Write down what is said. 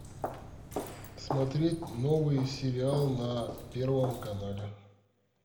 смотреть новый сериал на первом канале